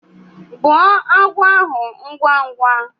Gbuo agwọ ahu ngwá ngwá!